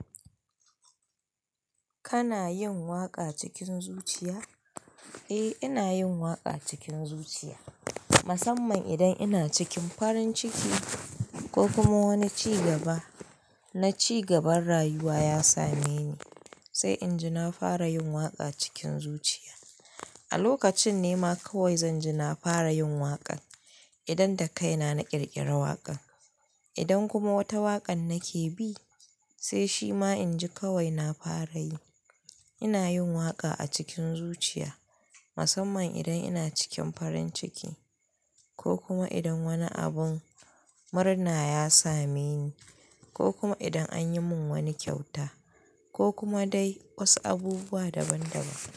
Kana yin waƙa cikin zuciya? Eh, ina yin waƙa cikin zuciya. Musamman idan ina cikin farin ciki ko kuma wani ci gaba na ci gaban rayuwa ya same ni, sai in ji na fara yin waƙa cikin zuciya. A lokacin nema kawai zan ji na fara yin waƙan idan da kai na na ƙirƙira waƙan. Idan kuma wata waƙan nake bi, sai shima in ji kawai na fara yi. Ina yin waƙa a cikin zuciya musamman idan ina cikin farin ciki ko kuma idan wani abun murna ya same ni ko kuma idan anyi mun wani kyauta ko kuma dai wasu abubuwa daban daban.